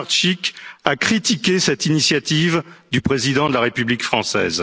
Le 6 mars, M. Lenarčič a critiqué cette initiative du président de la République